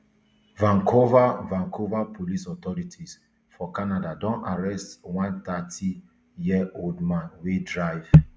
vancouver vancouver police authorities for canada don arrest one thirtyyearold man wey drive